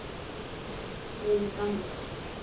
Erum við gamlir?